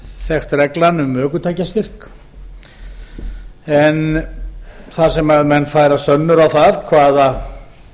þekkt reglan um ökutækjastyrk en þar sem menn færa sönnur á það hvaða